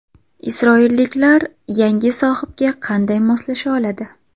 Isroilliklar yangi sohibga qanday moslasha oladi?